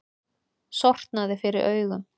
Sortnaði fyrir augum.